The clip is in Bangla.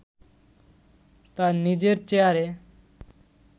তার নিজের চেয়ারে